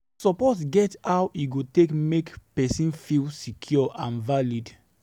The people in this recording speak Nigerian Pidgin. Support get how e take dey make person feel secure and valued